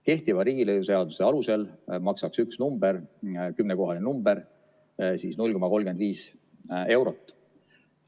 Kehtiva riigilõivuseaduse alusel maksaks üks kümnekohaline number 0,35 eurot.